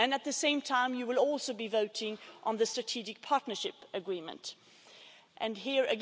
At the same time, you will also be voting on the Strategic Partnership Agreement Here